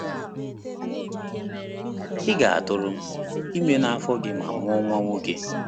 “Ị ga-atụrụ ime n’afọ gị ma mụọ nwa nwoke.”